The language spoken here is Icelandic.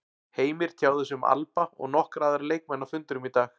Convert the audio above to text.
Heimir tjáði sig um Alba og nokkra aðra leikmenn á fundinum í dag.